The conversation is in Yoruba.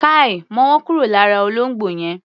Káì! Mọ́wọ́ kúrò lára olóngbò yẹn!